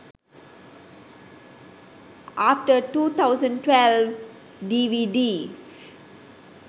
after 2012 dvd